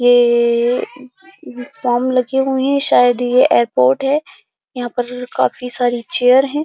ये सामने जो ही शायद ये एयरपोर्ट है। यहाँ पर काफी सारी चेयर हैं।